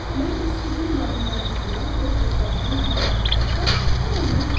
Mən bu sirrin müəllimlərindən olan doktor Ben Consona danışdıqda, o məndən soruşdu.